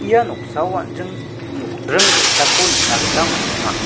ia noksao an·jing nokdring ge·sako nikna gita man·enga.